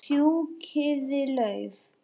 Fjúkiði lauf.